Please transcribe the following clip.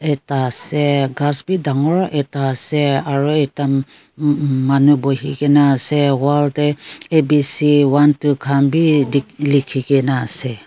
ekta ase gass bi ekta bagor ekta ase aru ekta maanu bohi kini ase wall te besi one two khan bhi lekhi kini ase.